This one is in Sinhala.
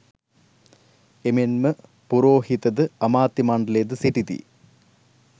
එමෙන්ම පුරෝහිත ද, අමාත්‍ය මණ්ඩලයද සිටිති.